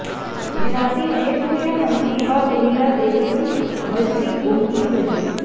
जिनाति वेदमुया हन्ति वा धुनिरा देवयुं भजति गोमति व्रजे